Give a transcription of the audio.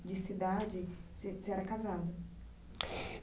de cidade, você você era casado?